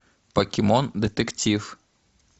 покемон детектив